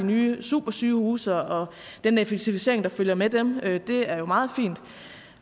nye supersygehuse og den effektivisering der følger med dem det er meget fint